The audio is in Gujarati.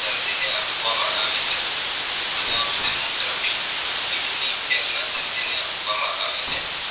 છે મૂત્ર પિંડ કિડની faile ના દર્દીને આપવામાં આવે છે